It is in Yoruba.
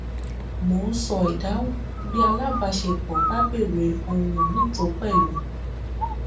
mo ń ṣọ ìdáhùn bí alábaṣepọ bá béèrè ohun mi tó pẹlú